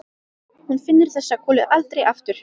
Hún finnur þessa kúlu aldrei aftur.